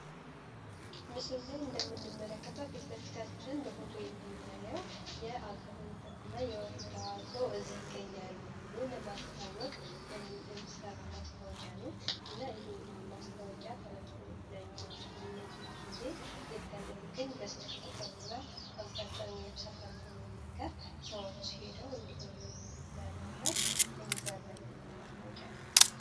ምስሉ ላይ እንደምንመለከተው ፊትለፊታችን በፎቶ የምናየው የ አገሬወተት እና የወወተትታዋጾዎ እዚህ ይገኛያሉ፡፡ ብሎ ለማስታወቅ የሚሠራ ማስታወቂያ ነው እኛ ይህ ማስታወቂያ ተለጥፎ በተለያዩ ቦቶች በምናይ ግር ጊዜ ይት እደሚገኝ በስድክ ቁጥር እና አምቀጨ ወይም ሰፈርም በመናገር ሰዎች ሄደው እንዲገዙ ለማድረግ የሚደረግ ማስታወቂያ ነው፡፡